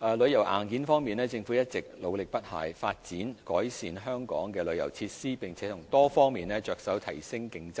在旅遊硬件方面，政府一直努力不懈，發展和改善香港的旅遊設施，並從多方面着手提升競爭力。